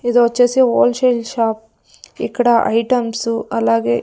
ఇది ఒచ్చేసి wholesale shop ఇక్కడ ఐటమ్స్ అలాగే.